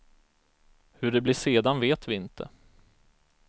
Hur det blir sedan vet vi inte.